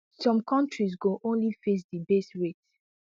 some countries go only face di base rate